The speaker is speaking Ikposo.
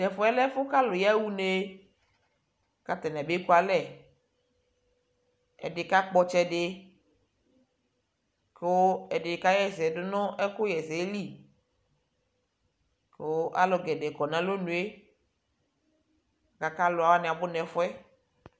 Tʊ ɛfʊ yɛ, ɛfʊ kʊ alʊ ya ɣa une, kʊ atanɩ abekualɛ, ɛdɩ kakpɔ ɔtsɛ dɩ, kʊ ɛdɩ ka ɣa ɛsɛ dʊ nʊ ɛkʊ ɣa ɛsɛ li, kʊ alʊ poo kɔ nʊ alonʊ yɛ, alʊwanɩ abʊ nɛfʊ yɛ